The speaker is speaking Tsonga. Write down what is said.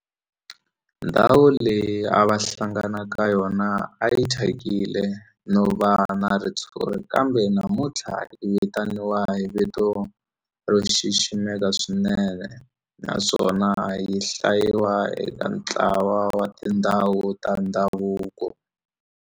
Ndhawu leyi a va hlangana ka yona a yi thyakile no va na ritshuri kambe namuntlha yi vitaniwa hi vito ro xiximeka swinene naswona yi hlayiwa eka ntlawa wa tindhawu ta ndhavuko.